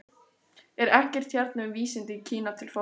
Er ekkert hérna um vísindi í Kína til forna?